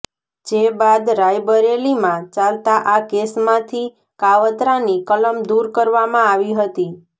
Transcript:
જે બાદ રાયબરેલીમાં ચાલતા આ કેસમાંથી કાવતરાની કલમ દૂર કરવામાં આવી હતી